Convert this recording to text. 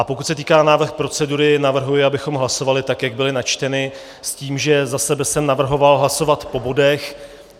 A pokud se týká návrhu procedury, navrhuji, abychom hlasovali tak, jak byly načteny, s tím, že za sebe jsem navrhoval hlasovat po bodech.